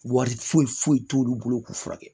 Wari foyi foyi t'olu bolo k'u furakɛ